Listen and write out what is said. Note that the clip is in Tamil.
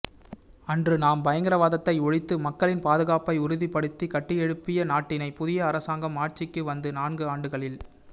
அன்று நாம் பயங்கரவாதத்தை ஒழித்து மக்களின் பாதுகாப்பை உறுதிப்படுத்தி கட்டியெழுப்பிய நாட்டினை புதிய அரசாங்கம் ஆட்சிக்கு வந்து நான்கு ஆண்டுகளில்